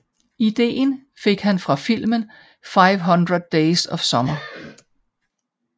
Ideen fik han fra filmen 500 Days Of Summer